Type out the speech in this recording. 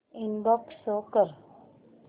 inbox show कर